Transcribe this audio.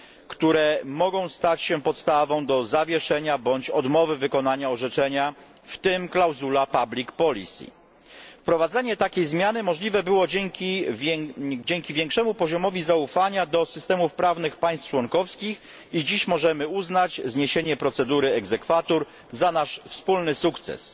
które mogą stać się podstawą do zawieszenia bądź odmowy wykonania orzeczenia, w tym klauzula public policy Wprowadzenie takiej zmiany możliwe było dzięki większemu poziomowi zaufania do systemów prawnych państw członkowskich i dziś możemy uznać zniesienie procedury exequatur za nasz wspólny